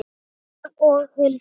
Rúna og Hildur.